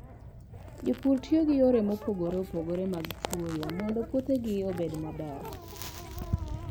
Jopur tiyo gi yore mopogore opogore mag chwoyo mondo puothegi obed maber.